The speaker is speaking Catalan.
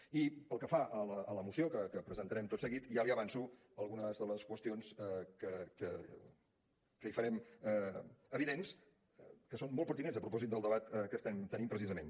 i pel que fa a la moció que presentarem tot seguit ja li avanço algunes de les qüestions que hi farem evidents que són molt pertinents a propòsit del debat que estem tenint precisament